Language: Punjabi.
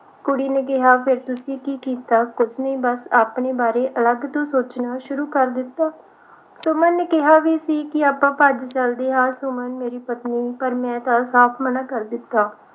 ਕੁੜੀ ਨੇ ਕਿਹਾ ਫਿਰ ਤੁਸੀ ਕੀ ਕੀਤਾ ਕੁਝ ਨਹੀਂ ਆਪਣੇ ਬਾਰੇ ਅਲੱਗ ਤੋਂ ਸੋਚਣਾ ਸ਼ੁਰੂ ਕਰ ਦਿੱਤਾ ਸੁਮਨ ਨੇ ਕਿਹਾ ਵੀ ਸੀ ਕਿ ਆਪਾ ਭੱਜ ਚਲਦੇ ਆ ਸੁਮਨ ਮੇਰੀ ਪਤਨੀ ਪਰ ਮੈਂ ਸਾਫ ਮਨਾ ਕਰ ਦਿੱਤਾ